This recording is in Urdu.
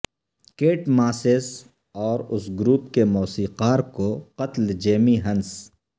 کیٹ ماسز اور اس گروپ کے موسیقار کو قتل جیمی ہنس